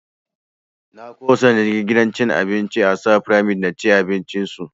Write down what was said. Na ƙosa na je gidan cin abincin ASAA fyramid na ci abinci su